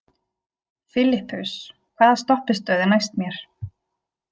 Filippus, hvaða stoppistöð er næst mér?